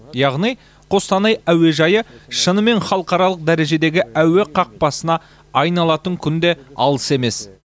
яғни қостанай әуежайы шынымен халықаралық дәрежедегі әуе қақпасына айналатын күн де алыс емес